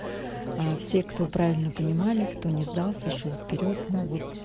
все кто правильно понимали кто не сдал сошёл вперёд ну вот